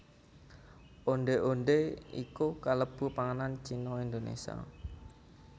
Ondhé ondhé iku kalebu panganan Cina Indonésia